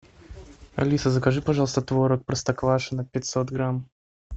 алиса закажи пожалуйста творог простоквашино пятьсот грамм